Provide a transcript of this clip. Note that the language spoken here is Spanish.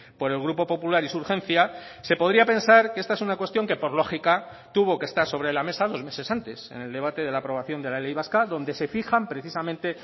por el grupo popular y su urgencia se podría pensar que esta es una cuestión que por lógica tuvo que estar sobre la mesa dos meses antes en el debate de la aprobación de la ley vasca donde se fijan precisamente